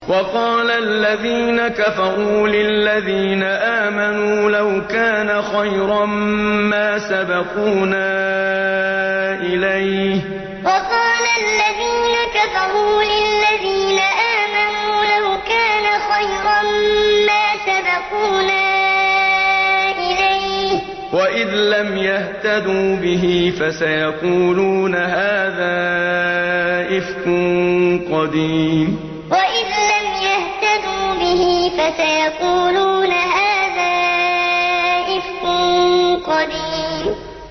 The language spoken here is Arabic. وَقَالَ الَّذِينَ كَفَرُوا لِلَّذِينَ آمَنُوا لَوْ كَانَ خَيْرًا مَّا سَبَقُونَا إِلَيْهِ ۚ وَإِذْ لَمْ يَهْتَدُوا بِهِ فَسَيَقُولُونَ هَٰذَا إِفْكٌ قَدِيمٌ وَقَالَ الَّذِينَ كَفَرُوا لِلَّذِينَ آمَنُوا لَوْ كَانَ خَيْرًا مَّا سَبَقُونَا إِلَيْهِ ۚ وَإِذْ لَمْ يَهْتَدُوا بِهِ فَسَيَقُولُونَ هَٰذَا إِفْكٌ قَدِيمٌ